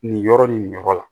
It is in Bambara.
Nin yɔrɔ nin nin yɔrɔ la